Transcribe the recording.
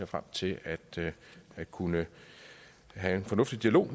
frem til at kunne have en fornuftig dialog